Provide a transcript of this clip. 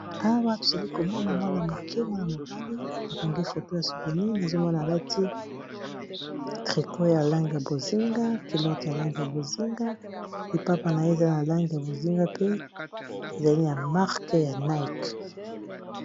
Awa tozali komona mwana moke mwana-mobali bakangi foto ya souvenir. Nazomona alati trikot ya lange ya bozinga kilote ya lange ya bozinga lipapa na ye ezali ya lange ya bozinga pe ezalini ya marke ya nike.